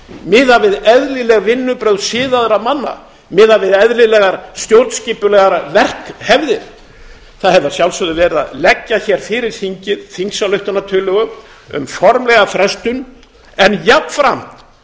miðað við eðlileg vinnubrögð siðaðra manna miðað við eðlilegar stjórnskipulegar verkhefðir það hefði að sjálfsögðu verið að leggja hér fyrir þingið þingsályktunartillögu um formlega frestun en jafnframt